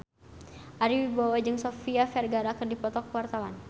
Ari Wibowo jeung Sofia Vergara keur dipoto ku wartawan